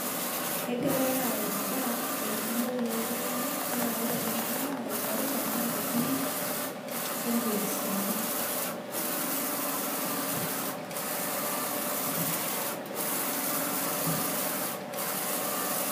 Egirai aaorr endaa tengumuyu oo tunganak naa ore enadaa aingorita naa ingiri ombiasini.